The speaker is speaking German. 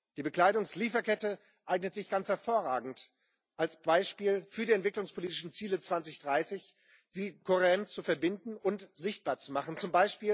Die Bekleidungslieferkette eignet sich ganz hervorragend als Beispiel für die entwicklungspolitischen Ziele 2030, sie kohärent zu verbinden und sichtbar zu machen, z.